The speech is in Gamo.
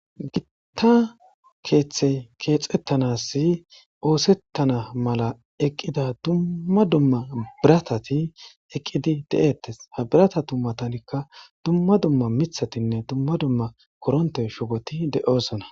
Gitta keeththey keexettanasi oosettana mala eqqida dumma dumma biratati eqqidi de7eettes habirata tummatanikka dumma dumma mithatinne dumma dumma koronte shugoti de7osona.